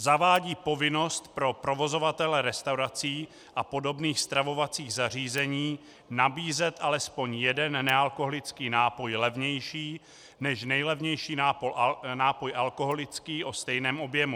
Zavádí povinnost pro provozovatele restaurací a podobných stravovacích zařízení nabízet alespoň jeden nealkoholický nápoj levnější než nejlevnější nápoj alkoholický o stejném objemu.